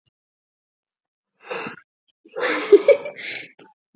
Meðalþyngdin var mismunandi eftir línum.